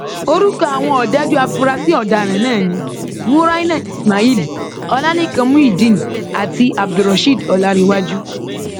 orúkọ àwọn ọdájú afurasí ọdaràn náà ni muraina ismail ọlálẹkan muideen àti abdulrasheed ọláǹrèwájú